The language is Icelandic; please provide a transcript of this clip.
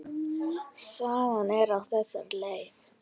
Sagan er á þessa leið: